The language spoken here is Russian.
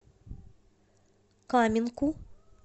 каменку